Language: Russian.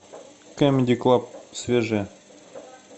камеди клаб свежее